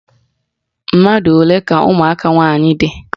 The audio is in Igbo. Mmadụ olee ka ụmụaka nwaanyị dị?